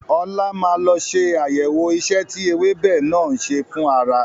Ọlá máa lọ ṣe àyẹ̀wọ̀ ìṣe tí ewébẹ̀ náà ń ṣe fún ara.